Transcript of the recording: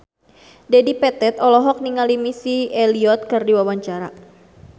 Dedi Petet olohok ningali Missy Elliott keur diwawancara